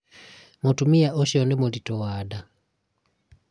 mũtumia ũcio nĩmũritũ wa nda